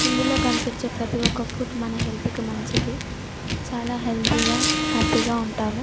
ఇందులో కనిపించే ప్రతి ఒక ఫుడ్ మన హెల్త్ కి మంచిది చాల హెల్తి గ హ్యాపీ గ ఉంటాము .